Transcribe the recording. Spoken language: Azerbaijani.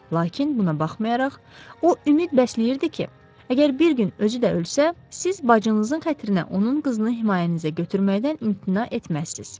Lakin buna baxmayaraq, o ümid bəsləyirdi ki, əgər bir gün özü də ölsə, siz bacınızın xatirinə onun qızını himayənizə götürməkdən imtina etməzsiz.